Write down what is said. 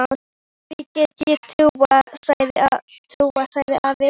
Því get ég trúað, sagði afi.